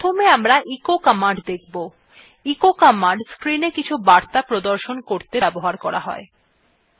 প্রথমে আমরা echo command দেখব এই command screenএ কিছু বার্তা প্রদর্শন করতে ব্যবহার করা হয় terminal গেলাম